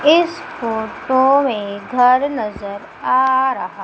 इस फोटो मे घर नजर आ रहा--